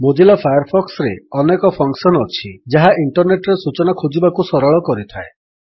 Mozilla ଫାୟାରଫକ୍ସରେ ଅନେ function ଅଛି ଯାହା ଇଣ୍ଟରନେଟ୍ ରେ ସୂଚନା ଖୋଜିବାକୁ ସରଳ କରିଥାଏ